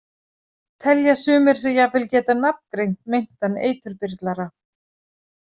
Telja sumir sig jafnvel geta nafngreint meintan eiturbyrlara.